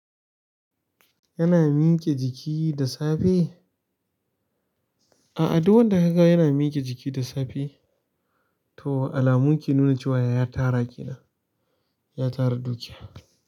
Yana miƙe jiki da safe? A'a duk wanda ka ga yana miƙe jiki da safe to alamu ke nuna cewa ya tara kenan, ya tara dukiya.